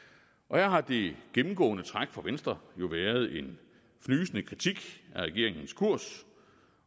her har det gennemgående træk fra venstre jo været en fnysende kritik af regeringens kurs